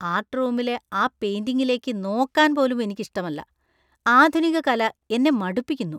Art റൂമിലെ ആ പെയിന്‍റിംഗിലേക്ക് നോക്കാൻ പോലും എനിക്ക് ഇഷ്ടമല്ല ; ആധുനിക കല എന്നെ മടുപ്പിക്കുന്നു.